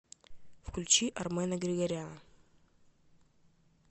включи армена григоряна